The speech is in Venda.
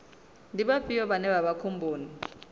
ndi vhafhio vhane vha vha khomboni